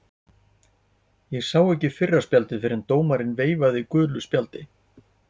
Ég sá ekki fyrra spjaldið en dómarinn veifaði gulu spjaldi.